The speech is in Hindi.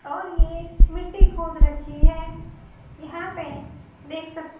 और ये मिट्टी खोद रखी हैं यहां पे देख सक--